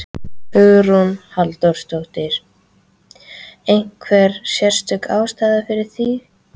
Hugrún Halldórsdóttir: Einhver sérstök ástæða fyrir því?